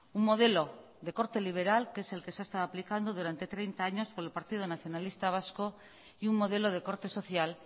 un modelo de corte liberal que es el que se ha estado aplicando durante treinta años por el partido nacionalista vasco y un modelo de corte social